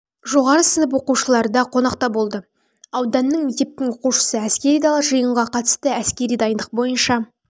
жоғары сынып оқушыларда қонақта болды ауданның мектептің оқушысы әскери дала жиынға қатысты әскери дайындық бойынша